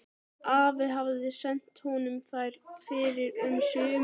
Afi hafði sent honum þær fyrr um sumarið.